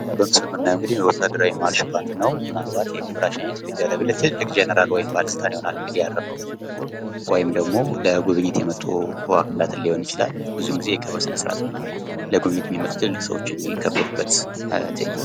ያው በምስሉ የምናየው እንግዲህ ወታደራዊ ማርሽ ባንድ ነው። ምን አልባት የክብር ሽኝት የሚደረግለት ትልልቅ ጀነራል ወይም ባለልጣን ይሆናል ያረፈው። ወይም ደግሞ ለጉብኝት የመጡ አባትን ሊሆን ይችላል። ብዙን ጊዜ የክብር ስነ-ስርአት እና ለጉብኝት የሚመጡ ትልልቅ እንግዶች የሚከበሩበት ትይንት